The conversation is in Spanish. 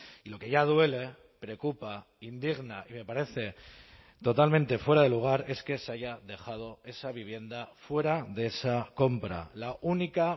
y lo que ya duele preocupa indigna y me parece totalmente fuera de lugar es que se haya dejado esa vivienda fuera de esa compra la única